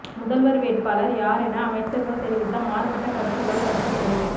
முதல்வர் வேட்பாளர் யார் என அமைச்சர்கள் தெரிவித்த மாறுபட்ட கருத்துகளால் கட்சிக்குள்